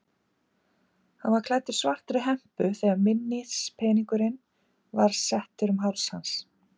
Hann var klæddur svartri hempu þegar minnispeningurinn var settur um háls hans.